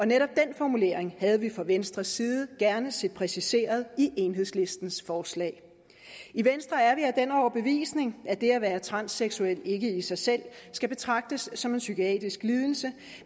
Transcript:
netop den formulering havde vi fra venstres side gerne set præciseret i enhedslistens forslag i venstre er vi af den overbevisning at det at være transseksuel ikke i sig selv skal betragtes som en psykiatrisk lidelse